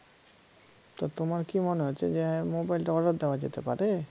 তা তোমার কি মনে হচ্ছে যে মোবাইলটা অর্ডার দেওয়া যেতে পারে?